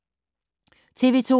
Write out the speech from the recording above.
TV 2